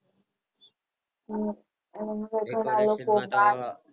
હમ